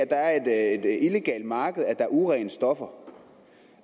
der er et illegalt marked at er urene stoffer